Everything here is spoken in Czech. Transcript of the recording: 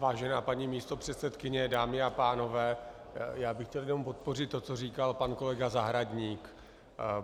Vážená paní místopředsedkyně, dámy a pánové, já bych chtěl jenom podpořit to, co říkal pan kolega Zahradník.